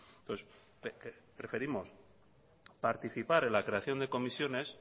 entonces preferimos participar en la creación de comisiones